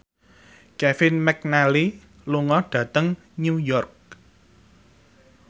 Kevin McNally lunga dhateng New York